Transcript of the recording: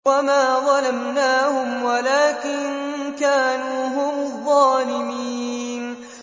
وَمَا ظَلَمْنَاهُمْ وَلَٰكِن كَانُوا هُمُ الظَّالِمِينَ